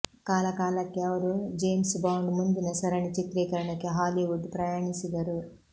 ಕಾಲಕಾಲಕ್ಕೆ ಅವರು James Bond ಮುಂದಿನ ಸರಣಿ ಚಿತ್ರೀಕರಣಕ್ಕೆ ಹಾಲಿವುಡ್ ಪ್ರಯಾಣಿಸಿದರು